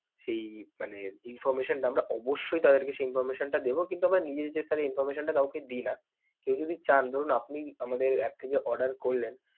সেই মানে information টা আমরা অবশ্যই তাদেরকে সেই information টা দেব কিন্তু আমরা নিজে থেকে sir কাউকে এই information টা দেই না. কেউ যদি চান, ধরুন, আপনি আমাদের app থেকে order করলেন.